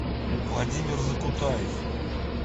владимир закутаев